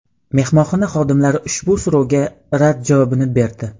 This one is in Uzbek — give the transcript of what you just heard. Mehmonxona xodimlari ushbu so‘rovga rad javobini berdi.